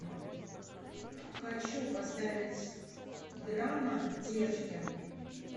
хочу поставить драма девочки